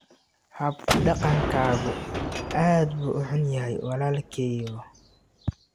Hab dhaqankaagu aad buu u xun yahay walaalkeyow.